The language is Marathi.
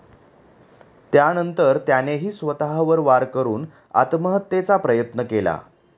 त्यानंतर त्यानेही स्वतःवर वार करून आत्महत्येचा प्रयत्न केला